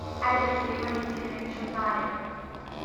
алексей валентинович чунаев